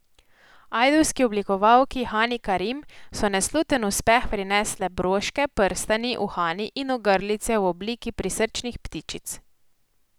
Ajdovski oblikovalki Hani Karim so nesluten uspeh prinesle broške, prstani, uhani in ogrlice v obliki prisrčnih ptičic.